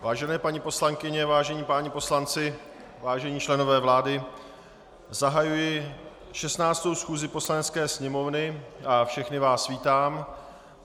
Vážené paní poslankyně, vážení páni poslanci, vážení členové vlády, zahajuji 16. schůzi Poslanecké sněmovny a všechny vás vítám.